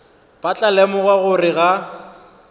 ba tla lemoga gore ga